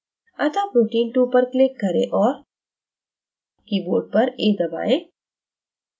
अतः protein 2 पर click करें और keyboard पर a दबाएं